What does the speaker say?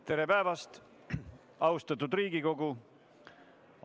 Tere päevast, austatud Riigikogu!